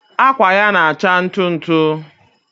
akwa ya na-acha ntụ ntụ.